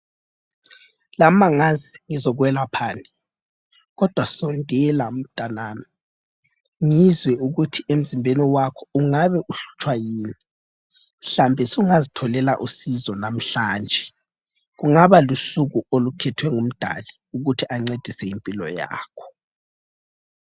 Lami angazi ngizokwelaphani kodwa sondela mtanami ngizwe ukuthi emzimbeni wakho ungabe uhlutshwa yini mhlawumbe sungazitholela usizo namhlanje ,kungaba lusuku olukhethwe ngumdali ukuthi ancedise impilo yakho